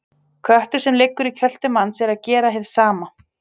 Köttur sem liggur í kjöltu manns er að gera hið sama.